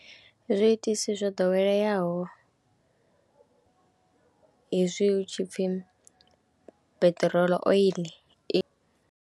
Zwiitisi zwo ḓoweleaho hezwi hu tshi pfhi peṱirolo, oil.